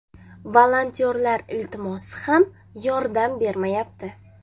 Volontyorlar iltimosi ham yordam bermayapti”.